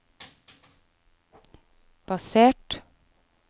basert